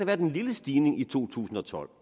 været en lille stigning i to tusind og tolv